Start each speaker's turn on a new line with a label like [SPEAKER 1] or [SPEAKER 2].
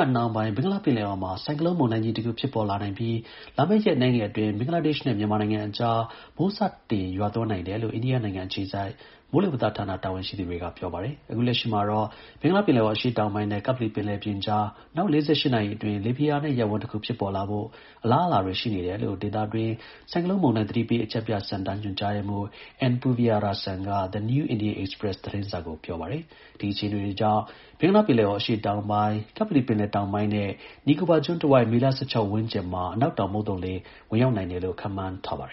[SPEAKER 1] တ်နှောင်းပိုင်း ဘင်္ဂလားပင်လယ်အော်မှာ ဆိုင်ကလုန်းမုန်တိုင်းကြီးတခု ဖြစ်ပေါ်လာနိုင်ပြီး လာမယ့် ရက်အနည်းငယ်အတွင်း ဘင်္ဂလားဒေ့ရှ် နဲ့ မြန်မာနိုင်ငံအကြား မိုးစတင် ရွာသွန်းနိုင်တယ်လို့ အိန္ဒိယနိုင်ငံအခြေစိုက် မိုးလေဝသဌာန တာဝန်ရှိသူတွေက ပြောပါတယ်။ အခုလက်ရှိမှာတော့ ဘင်္ဂလားပင်လယ်အော် အရှေ့တောင်ပိုင်းနဲ့ ကပ္ပလီပင်လယ်ပြင်ကြား နောက် ၄၈ နာရီအတွင်း လေဖိအား နည်း ရပ်ဝန်းတခုဖြစ်ပေါ်လာဖို့ အလားအလာတွေရှိနေတယ်လို့ ဒေသတွင်း ဆိုင်ကလုန်းမုန်တိုင်း သတိပေး အချက်ပြစင်တာ ညွှန်ကြား ရေးမှူး N Puviarasan ကThe New Indian Express သတင်းစာကို ပြောပါတယ။ ဒီအခြေအနေတွေကြောင့် ဘင်္ဂလားပင်လယ်အော်အရှေ့တောင်ပိုင်း၊ ကပ္ပလီပင်လယ်ပြင်တောင်ပိုင်းနဲ့ နီကိုဘာကျွန်းတဝိုက် မေလ ၁၆ ရက်ဝန်းကျင်မှာ အနောက်တောင်မုတ်သုံလေ ဝင်ရောက်နိုင်တယ်လို့ ခန့်
[SPEAKER 2] မှန်းထားပါတယ